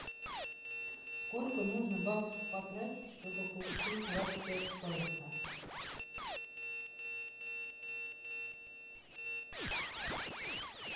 сколько нужно баксов потратить чтобы получить двадцать пять песо